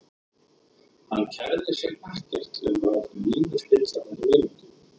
Hann kærði sig ekkert um að láta Nínu spilla þeirri vináttu.